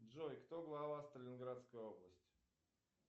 джой кто глава сталинградской области